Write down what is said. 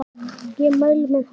Ég mæli með honum.